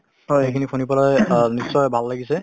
সেইখিনি শুনিবলৈ নিশ্চিয় ভাল লাগিছে